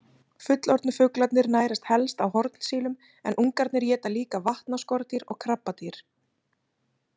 Fullorðnu fuglarnir nærast helst á hornsílum, en ungarnir éta líka vatnaskordýr og krabbadýr.